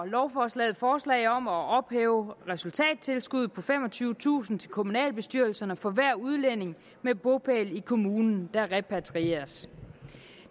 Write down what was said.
lovforslaget forslag om at ophæve resultattilskuddet på femogtyvetusind kroner til kommunalbestyrelserne for hver udlænding med bopæl i kommunen der repatrieres